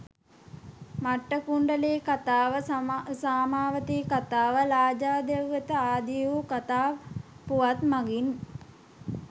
මට්ඨකුණ්ඩලී කතාව, සාමාවතී කතාව, ලාජා දෙව් වත ආදී වූ කතා පුවත් මගින්